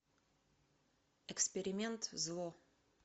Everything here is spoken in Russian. эксперимент зло